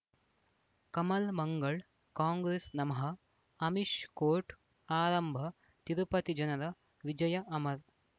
ಕಮಲ್ ಮಂಗಳ್ ಕಾಂಗ್ರೆಸ್ ನಮಃ ಅಮಿಷ್ ಕೋರ್ಟ್ ಆರಂಭ ತಿರುಪತಿ ಜನರ ವಿಜಯ ಅಮರ್